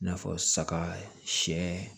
I n'a fɔ saga siɲɛ